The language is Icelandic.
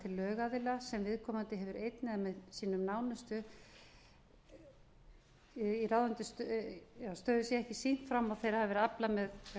til lögaðila sem viðkomandi hefur einn eða með sínum nánustu ráðandi stöðu í sé ekki sýnt fram á að þeirra hafi verið aflað með